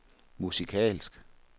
musikalsk